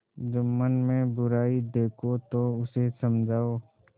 जुम्मन में बुराई देखो तो उसे समझाओ